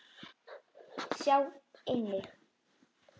Sjá einnig